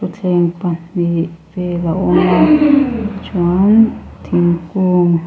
thleng pahnih vel a awm a chuan thingkung--